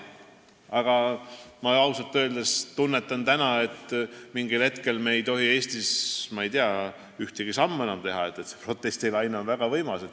Aga ausalt öeldes ma tunnetan, et mingil hetkel me ei tohi Eestis enam ühtegi sammu teha – protestilaine on väga võimas.